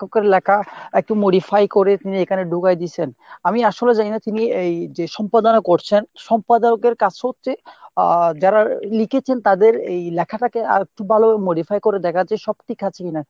লেখকের লেখা একটু modifi করে নিয়ে এখানে ঢুকায় দিছেন। আমি আসলে জানিনা যিনি এই সম্পাদনা করছেন সম্পাদকের কাছ হচ্ছে আহ যারা লিখেছেন তাদের এই লেখাটাকে আর একটু ভালো modifi করে দেখা যে সব ঠিক আছে কিনা ?